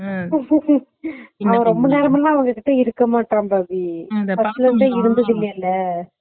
Laugh ரொம்ப நேரமெல்ல அவன் அவங்க கிட்ட இருக்க மாட்டன் பாவி